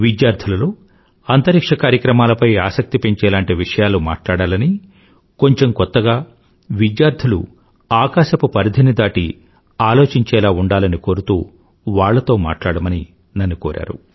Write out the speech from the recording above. విద్యార్థులలోఅంతరిక్ష్య కార్యక్రమాలపై ఆసక్తి పెంచేలాంటి విషయాలు మాట్లాడాలనీ కొంచెం కొత్తగా విద్యార్థులు ఆకాశపు పరిధిని దాటి ఆలోచించేలా ఉండాలని కోరుతూ వాళ్లతో మాట్లాడమని నన్ను కోరారు